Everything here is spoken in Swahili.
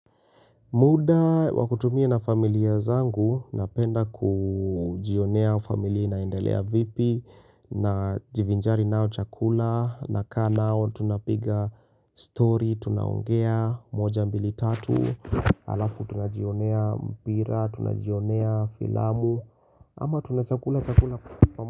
Muda wa kutumia na familia zangu, napenda kujionea familia inaendelea vipi, najivinjari nao chakula, nakaa nao tunapiga story, tunaongea, moja mbili tatu, halafu tunajionea mpira, tunajionea filamu, ama tunachakula chakula.